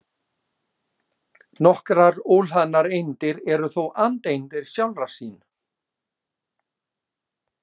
Sigurbjarni, hvernig er veðrið úti?